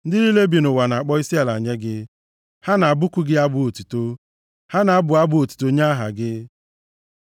Ndị niile bi nʼụwa na-akpọ isiala nye gị; ha na-abụku gị abụ otuto, ha na-abụ abụ otuto nye aha gị.” Sela